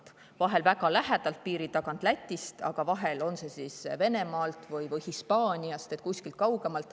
Vahel jõuavad need siia väga lähedalt piiri tagant, Lätist, aga vahel Venemaalt või Hispaaniast või kusagilt veel kaugemalt.